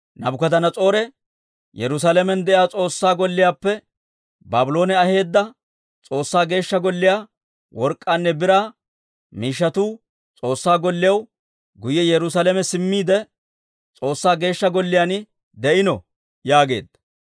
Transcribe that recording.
Naabukadanas'oore; ‹Yerusaalamen de'iyaa S'oossaa Golliyaappe Baabloone aheedda S'oossaa Geeshsha Golliyaa work'k'aanne biraa miishshatuu S'oossaa golliyaw guyye Yerusaalame simmiide; S'oossaa Geeshsha Golliyaan de'ino› yaageedda.